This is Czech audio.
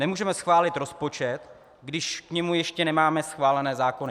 Nemůžeme schválit rozpočet, když k němu ještě nemáme schválené zákony.